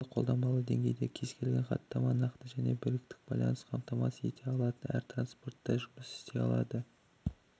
бірақ қолданбалы деңгейдегі кез-келген хаттама нақты және берікті байланысты қамтамасыз ете алатын әр транспортта жұмыс істей алады